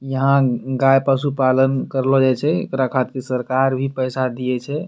यहाँ गाय पशु-पालन करलो जाए छे। एकरा खातिर सरकार भी पैसा दिए छे।